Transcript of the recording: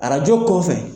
Arajo kɔfɛ